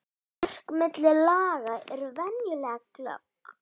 Mörk milli laga eru venjulega glögg.